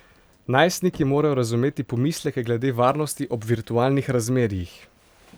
Najstniki morajo razumeti pomisleke glede varnosti ob virtualnih razmerjih.